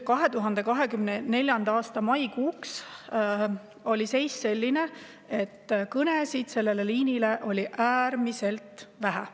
2024. aasta maikuuks oli seis selline, et kõnesid sellele liinile oli äärmiselt vähe.